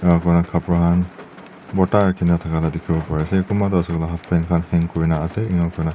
ena kuina kapra khan borta rakhina thaka la dikhi bo pari ase kunba toh ase koile halfpant khan hang kurina ase ena kurina.